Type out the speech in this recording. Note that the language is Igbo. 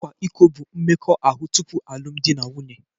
Ịkwa iko bụ mmekọahụ tupu alụmdi na nwunye